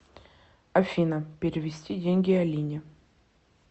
афина перевести деньги алине